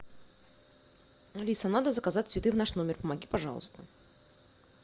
алиса надо заказать цветы в наш номер помоги пожалуйста